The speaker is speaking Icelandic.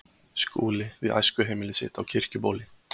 Skúli við æskuheimili sitt á Kirkjubóli.